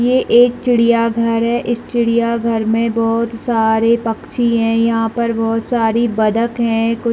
ये एक चिड़िया घर है इस चिड़िया घर में बहुत सारे पक्षी है यहाँ पर बहुत सारी बतक है कुछ--